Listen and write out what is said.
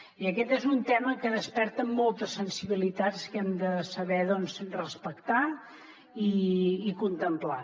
i aquest és un tema que desperta moltes sensibilitats que hem de saber respectar i contemplar